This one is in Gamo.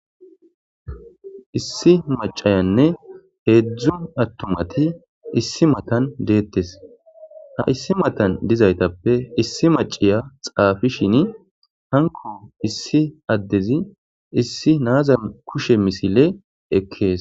issi macayanne heedzdzu attumati issi matan deettes ha issi matan dizaytappe issi maciya xaafishin hanko issi addezi issi naaza kushe misile ekkees